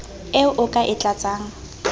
eo o ka e tlatsang